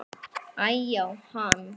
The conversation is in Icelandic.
Æ-já, hann.